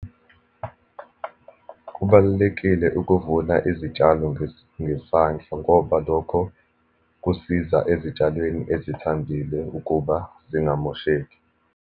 Kubalulekile ukuvuna izitshalo ngesandla ngoba lokho kusiza ezitshalweni ezithambile ukuba zingamosheki.